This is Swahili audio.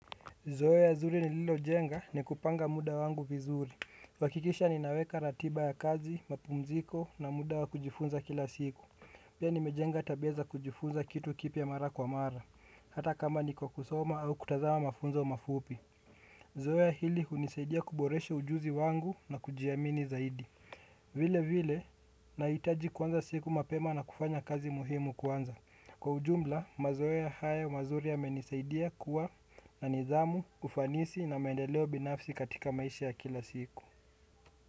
Zoea zuri ni lilo jenga ni kupanga muda wangu vizuri. Kuhakikisha ninaweka ratiba ya kazi, mapumziko na muda wa kujifunza kila siku. Pia nimejenga tabia za kujifunza kitu kipya mara kwa mara. Hata kama niko kusoma au kutazama mafunzo mafupi. Zoea hili unisaidia kuboreshe ujuzi wangu na kujiamini zaidi. Vile vile, naitaji kuanza siku mapema na kufanya kazi muhimu kwanza. Kwa ujumla, mazoea hayo mazuri ya menisaidia kuwa na nidhamu ufanisi na mendeleo binafsi katika maisha ya kila siku.